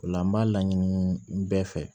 O la n b'a laɲini bɛɛ fɛ